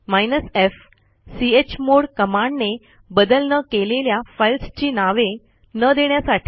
hyphen f चमोड कमांडने बदल न केलेल्या फाईल्सची नावे न देण्यासाठी